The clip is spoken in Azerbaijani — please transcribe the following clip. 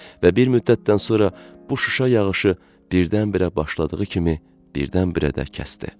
Və bir müddətdən sonra bu şüşə yağışı birdən-birə başladığı kimi, birdən-birə də kəsdi.